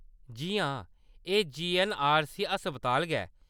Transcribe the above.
जी हां, एह् जीऐन्नआरसी अस्पताल गै।